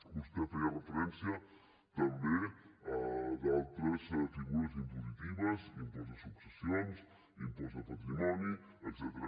vostè feia referència també a d’altres figures impositives impost de successions impost de patrimoni etcètera